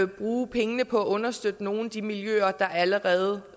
bruge pengene på at understøtte nogle af de miljøer der allerede